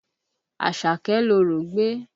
Àṣàkẹ́ lorò gbé